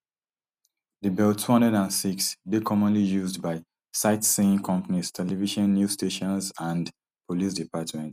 di bell two hundred and six dey commonly used by sightseeing companies television new stations and police departments